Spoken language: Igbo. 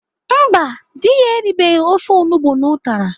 Mba, dị ya eribeghi ofe onugbo na ụtara.